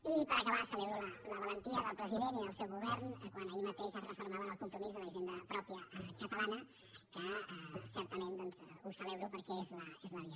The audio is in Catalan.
i per acabar celebro la valentia del president i del seu govern quan ahir mateix es refermava en el compromís d’una hisenda pròpia catalana que certament doncs ho celebro perquè és la via